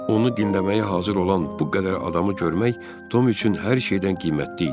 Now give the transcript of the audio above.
Onu dinləməyə hazır olan bu qədər adamı görmək Tom üçün hər şeydən qiymətli idi.